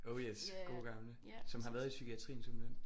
Oh yes gode gamle som har været i psykiatrien simpelthen